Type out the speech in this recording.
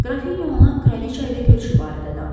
Qrafinya ona kraliça ilə görüşü barədə danışdı.